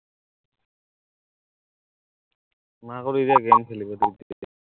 মাকক এতিয়া game খেলিব দিম